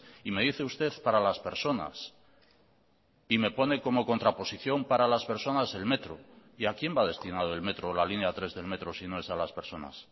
y me dice usted para las personas y me pone como contraposición para las personas el metro y a quién va destinado el metro o la línea tres del metro si no es a las personas